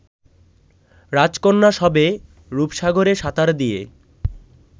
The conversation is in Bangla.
রাজকন্যা সবে রপসাগরে সাঁতার দিয়ে